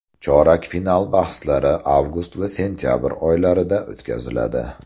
Chorak final bahslari avgust va sentyabr oylarida o‘tkaziladi.